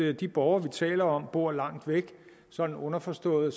at de borgere vi taler om bor langt væk så underforstået